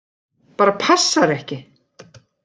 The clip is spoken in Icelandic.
Bara passar ekki!